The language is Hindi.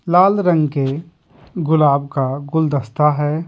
लाल रंग के गुलाब का गुलदस्ता है।